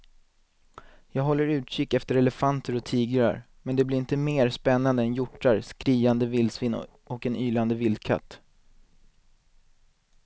Jag håller utkik efter elefanter och tigrar men det blir inte mer spännande än hjortar, skriande vildsvin och en ylande vildkatt.